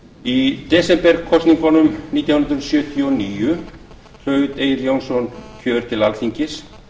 í desemberkosningunum nítján hundruð sjötíu og níu hlaut egill jónsson kjör til alþingis